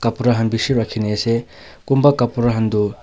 Pura kham bishi rakhine ase kunba kapara khan tu--